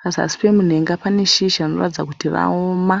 Pazasi pemunhenga pane shizha rinoratidza kuti raoma.